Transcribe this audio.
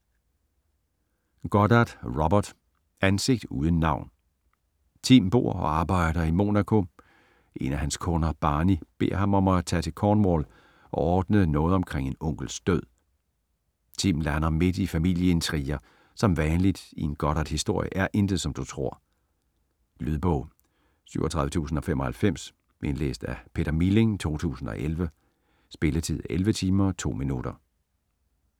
Goddard, Robert: Ansigt uden navn Tim bor og arbejder i Monaco, en af hans kunder, Barney, beder ham om at tage til Cornwall og ordne noget omkring en onkels død. Tim lander midt i familieintriger, som vanligt i en Goddardhistorie er intet, som du tror. Lydbog 37095 Indlæst af Peter Milling, 2011. Spilletid: 11 timer, 2 minutter.